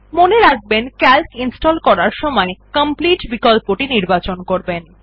মনে রাখবেনCalc ইনস্টল করার সময় কমপ্লিট বিকল্পটি নির্বাচন করবেন